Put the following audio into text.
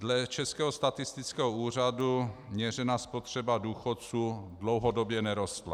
Dle Českého statistického úřadu měřená spotřeba důchodců dlouhodobě nerostla.